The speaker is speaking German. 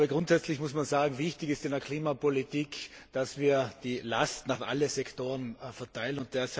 Grundsätzlich muss man sagen Wichtig ist in der Klimapolitik, dass wir die Lasten auf alle Sektoren verteilen.